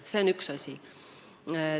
See on üks asi.